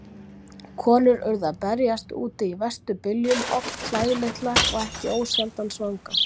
Konur urðu að berjast úti í verstu byljum, oft klæðlitlar og ekki ósjaldan svangar.